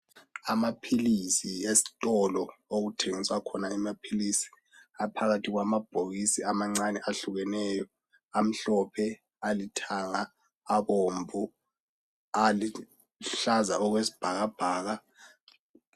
amaphilisi esitolo lapho okuthengiswa khona amaphilisi aphakathi kwamabhokisi amancane ahukeneyo amhlophe alithanga abomvu aluhlaza okwesibhakabhaka